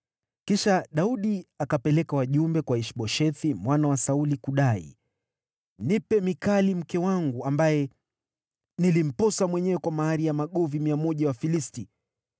Kisha Daudi akapeleka wajumbe kwa Ish-Boshethi mwana wa Sauli, kudai, “Nipe Mikali mke wangu, ambaye nilimposa mwenyewe kwa mahari ya magovi 100 ya Wafilisti.”